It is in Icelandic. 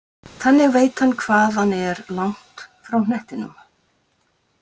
Þannig veit hann hvað hann er langt frá hnettinum.